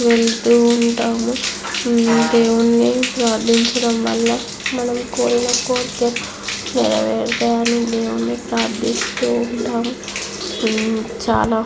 వెళ్తూ ఉంటాము దేవుణ్ణి ప్రార్ధించడం వల్ల మనం కోరిన కోరికలు నెరవేరుతాయని దేవుడిని ప్రారధిస్తూంటాము చాలా.